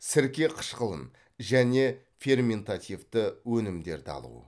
сірке қышқылын және ферментативті өнімдерді алу